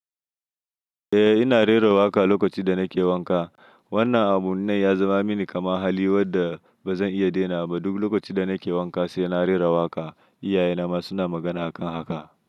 Eh ina rera waƙa lokacin da nake wanka. Wannan abun nan ya zama mini kamar hali wanda ba zan iya ɗainawa ba. Duk lokacin da nake wanka sai na rera waƙa. Iyaye na ma suna magana a kan haka.